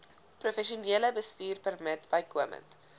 professionele bestuurpermit bykomend